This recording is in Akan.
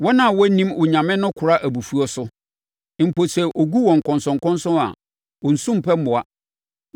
“Wɔn a wɔnnim Onyame no kora abufuo so; mpo sɛ ɔgu wɔn nkɔnsɔnkɔnsɔn a, wɔnsu mpɛ mmoa.